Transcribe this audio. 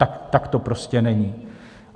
Tak to prostě není.